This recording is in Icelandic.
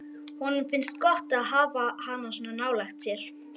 Honum finnst gott að hafa hana svona nálægt sér.